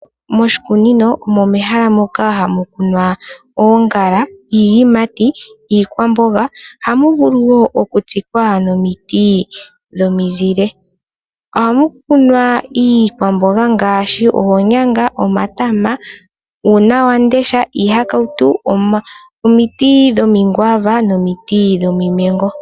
Moshikunino omo mehala moka hamu kunwa oongala iiyimati ,iikwamboga ohamu vulu wo okutsikwa nomiti dhomizile ohamu kunwa iikwamboga ngaashi oonyanga omatama ,uunawamundesha ,iihakautu omiti dhomigwaava nomiti dhomimengo.